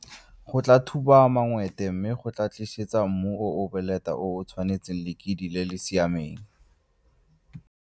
Go tlaa thuba mangwete mme go tlaa tlisetsa mmu o o boleta o o tshwanetseng lekidi le le siameng.